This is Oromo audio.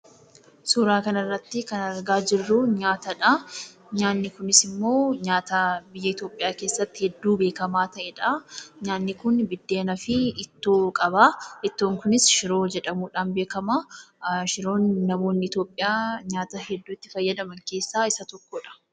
Suuraa kanarratti kan argaa jirruu nyaatadhaa, nyaanni kunisimmoo nyaata biyya Itoopiyaa keessatti hedduu beekkamaa ta'edhaa. Nyaanni kun bideenaafi ittoo qabaa, ittoon kunis shiroo jedhamuudhan beekkamaa, shiroon namoonni Itoopiyaa nyaata hedduu itti fayyadaman keessaa isa tokkodha.